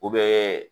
U bɛ